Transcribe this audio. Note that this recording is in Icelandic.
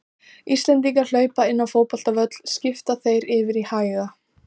Íslendingar hlaupa inn á fótboltavöll skipta þeir yfir í hæga